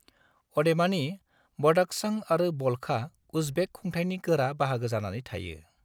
अदेबानि, बदख्शां आरो बल्खआ उज्बेक खुंथायनि गोरा बाहागो जानानै थायो।